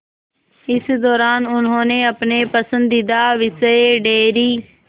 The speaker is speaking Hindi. इस दौरान उन्होंने अपने पसंदीदा विषय डेयरी